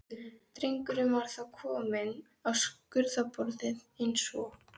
Drengurinn var þá kominn á skurðarborðið eins og